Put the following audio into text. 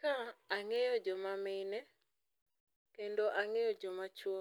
kaa ang'eyo joma mine kendo ang'eyo joma chwo.